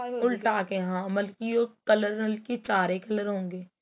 ਉਲਟਾ ਕੇ ਹਾਂ ਮਲਕੀ ਉਹ color ਕਿ ਚਾਰੇ color ਹੋਣਗੇ